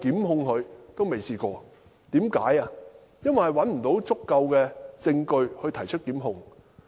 因為無法找到足夠證據以提出檢控。